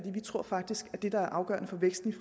vi tror faktisk at det der er afgørende for væksten